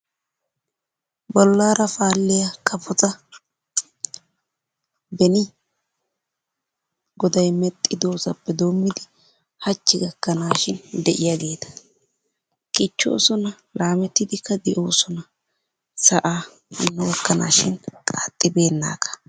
Bollaara paalliya kafota beni goday mexxidosappe doommidi hachchi gaakanaashin de'iyaageeta. Kichchoosona laamettidikka de'oosona. Sa'aa hano gakanaashin qaaxxibeennaaga.